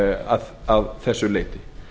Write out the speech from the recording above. að þessu leyti